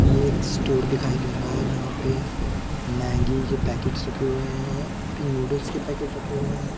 ये एक स्टोर दिखाई दे रहा है यहाँ पे मैग्गी के पैकेट्स रखे हुए हैं ईपी नूडल्स के पैकेट्स रखे हुए हैं।